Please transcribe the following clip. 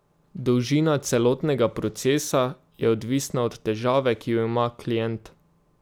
Dolžina celotnega procesa je odvisna od težave, ki jo ima klient.